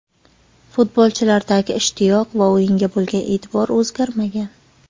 Futbolchilardagi ishtiyoq va o‘yinga bo‘lgan e’tibor o‘zgarmagan.